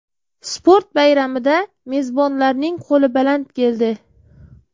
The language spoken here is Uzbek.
Sport bayramida mezbonlarning qo‘li baland keldi.